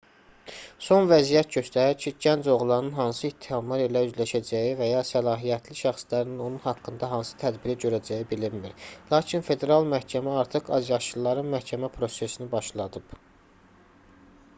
son vəziyyət göstərir ki gənc oğlanın hansı ittihamlar ilə üzləşəcəyi və ya səlahiyyətli şəxslərin onun haqqında hansı tədbiri görəcəyi bilinmir lakin federal məhkəmə artıq azyaşlıların məhkəmə prosesini başladıb